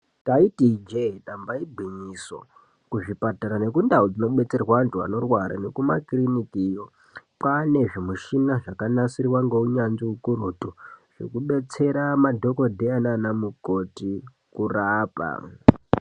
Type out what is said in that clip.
Taiti ijee damba igwinyiso kuzvipatara nekundau dzinobetserwa antu anorwara nekumakirinikiyo kwane zvimushina zvakanasirwa ngeunyanzvi ukurutu zvekubetsera madhokodheya naanamukoti kurapa.